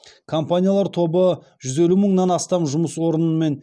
компаниялар тобы жүз елу мыңнан астам жұмыс орынымен